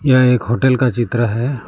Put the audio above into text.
यह एक होटल का चित्र है।